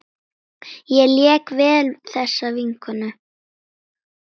Ég lék vel þessa vikuna.